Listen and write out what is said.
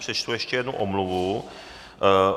Přečtu ještě jednu omluvu.